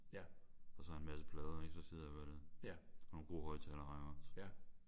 Og så har jeg en masse plader ik? Og så sidder jeg og hører dem. Og nogle gode højtalere har jeg også